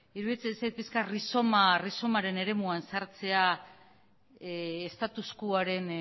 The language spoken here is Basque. iruditzen zait pixka bat rizomaren eremuan sartzea status quoaren